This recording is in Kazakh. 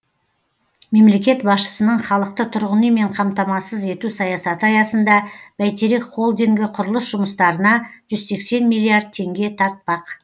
мемлекет басшысының халықты тұрғын үймен қамтамассыз ету саясаты аясында бәйтерек холдингі құрылыс жұмыстарына жүз сексен миллиард теңге тартпақ